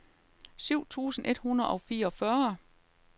syv tusind et hundrede og fireogfyrre